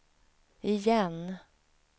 igen